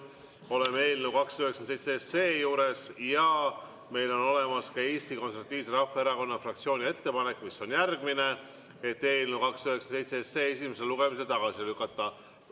Oleme eelnõu 297 juures ja meil on Eesti Konservatiivse Rahvaerakonna fraktsiooni ettepanek, mis on järgmine: eelnõu 297 esimesel lugemisel tagasi lükata.